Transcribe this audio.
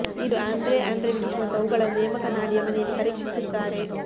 ಇದು Andrei Andreyevich ಮತ್ತು ಅವುಗಳನ್ನು ನೇಮಕ ನಾಡಿಯಾ ಮನೆಯಲ್ಲಿ ಪರೀಕ್ಷಿಸುತ್ತಾರೆ